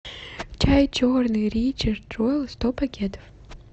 чай черный ричард джоэл сто пакетов